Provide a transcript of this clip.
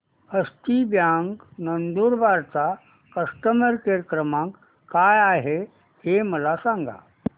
हस्ती bank Nandurbar चा customer care क्रमांक काय आहे हे मला सांगा